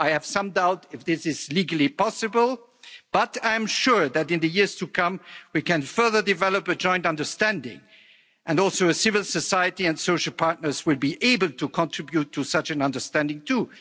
I have some doubt if this is legally possible, but I'm sure that in the years to come we can further develop a joint understanding, and also a civil society and social partners would be able to contribute to such an understanding too.